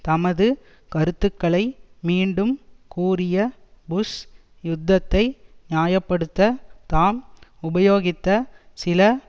தமது கருத்துக்களை மீண்டும் கூறிய புஷ் யுத்தத்தை நியாய படுத்த தாம் உபயோகித்த சில